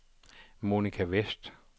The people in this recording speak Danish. Monica Westh